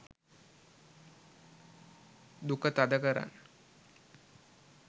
duka thada karan